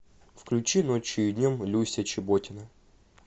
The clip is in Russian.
включи ночью и днем люся чеботина